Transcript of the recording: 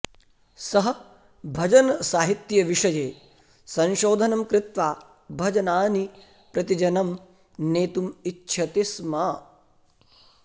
सः भजनसाहित्यविषये संशोधनं कृत्वा भजनानि प्रतिजनं नेतुम् इच्छति स्म